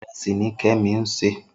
Irèsí ni Kemi n sé